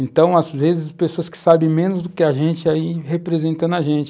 Então, às vezes, pessoas que sabem menos do que a gente, aí representam a gente.